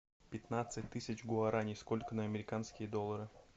пятнадцать тысяч гуарани сколько на американские доллары